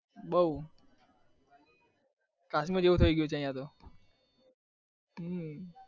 બઉ કાશ્મીર જેવું થઇ ગયું છે અહિયાં તો